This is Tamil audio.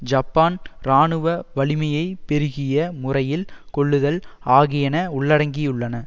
ஜப்பான் இராணுவ வலிமையை பெருகிய முறையில் கொள்ளுதல் ஆகியன உள்ளடங்கியுள்ளன